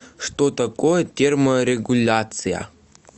что такое терморегуляция